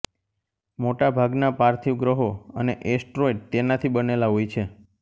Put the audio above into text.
મોટાભાગના પાર્થિવ ગ્રહો અને એસ્ટરોઇડ તેનાથી બનેલા હોય છે